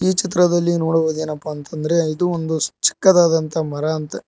ಈ ಚಿತ್ರದಲ್ಲಿ ನೋಡುವುದೇನೆಪ್ಪ ಅಂತಂದ್ರೆ ಇದು ಒಂದು ಚಿಕ್ಕದಾದಂತ ಮರ ಅಂತೆ--